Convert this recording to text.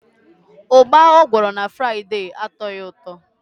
Ugba o gworo m na Fraide atoghi uto.